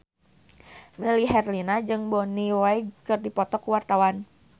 Melly Herlina jeung Bonnie Wright keur dipoto ku wartawan